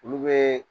Olu bɛ